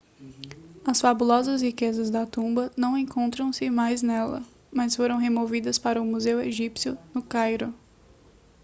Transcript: as fabulosas riquezas da tumba não encontram-se mais nela mas foram removidas para o museu egípcio no cairo